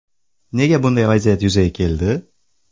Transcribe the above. Nega bunday vaziyat yuzaga keldi?